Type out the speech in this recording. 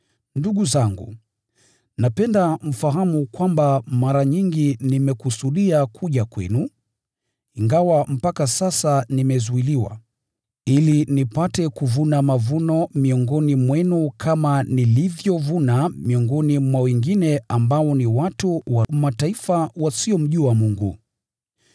Ndugu zangu, napenda mfahamu kwamba mara nyingi nimekusudia kuja kwenu (ingawa mpaka sasa nimezuiliwa), ili nipate kuvuna mavuno miongoni mwenu kama nilivyovuna miongoni mwa wengine ambao ni watu wa Mataifa wasiomjua Mungu.